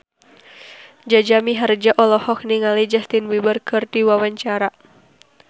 Jaja Mihardja olohok ningali Justin Beiber keur diwawancara